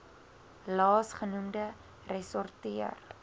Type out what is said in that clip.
laas genoemde ressorteer